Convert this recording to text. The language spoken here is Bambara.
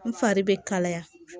N fari bɛ kalaya